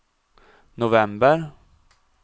november